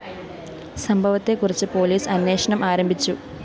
സംഭവത്തെ കുറിച്ച് പോലീസ് അന്വേഷണം ആരംഭിച്ചു